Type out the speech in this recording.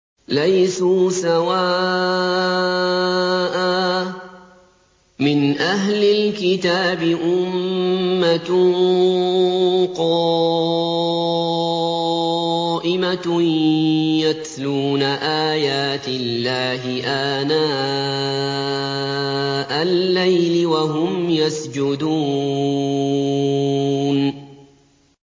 ۞ لَيْسُوا سَوَاءً ۗ مِّنْ أَهْلِ الْكِتَابِ أُمَّةٌ قَائِمَةٌ يَتْلُونَ آيَاتِ اللَّهِ آنَاءَ اللَّيْلِ وَهُمْ يَسْجُدُونَ